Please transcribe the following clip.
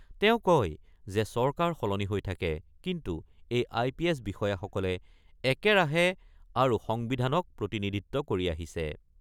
তেওঁ কয় যে চৰকাৰ সলনি হৈ থাকে কিন্তু এই আই পি এছ বিষয়াসকলে একেৰাহে আৰু সংবিধানক প্ৰতিনিধিত্ব কৰি আহিছে।